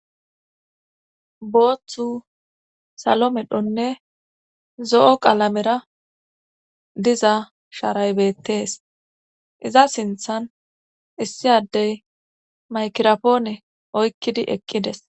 Booththu salo medhonne zo'o qalamera diza sharaybettees iza sinthan issi addey maykirapoone oykkidi eqqides.